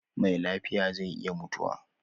Me lafiya zai iya mutuwa